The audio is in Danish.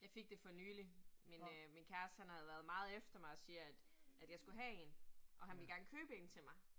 Jeg fik det for nyligt, min øh min kæreste han havde været meget efter mig og siger, at at jeg skulle have 1, og han ville gerne købe en til mig